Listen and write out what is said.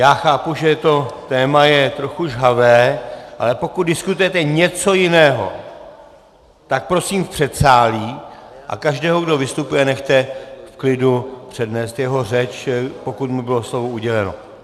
Já chápu, že to téma je trochu žhavé, ale pokud diskutujete něco jiného, tak prosím v předsálí, a každého, kdo vystupuje, nechte v klidu přednést jeho řeč, pokud mu bylo slovo uděleno.